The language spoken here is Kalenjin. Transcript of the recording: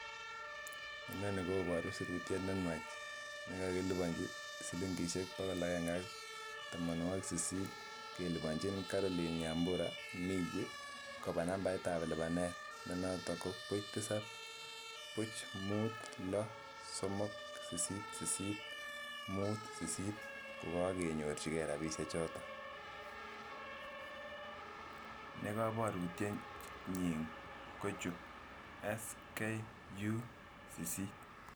Iminii koboru sirutyet nenwach Nebo lipanet ab chepkondok siling bokol agenge ak tamanwagik sisit koba Caroline nyambura migwi eng nambarit ab buch tisab buch mut lo somok sisit sisit